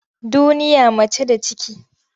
Duniya mace da ciki.